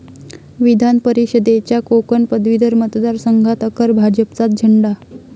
विधानपरिषदेच्या कोकण पदवीधर मतदारसंघात अखेर भाजपचाच झेंडा